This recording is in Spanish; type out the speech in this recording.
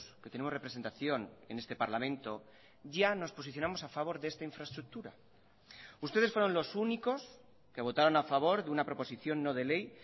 que tenemos representación en este parlamento ya nos posicionamos a favor de esta infraestructura ustedes fueron los únicos que votaron a favor de una proposición no de ley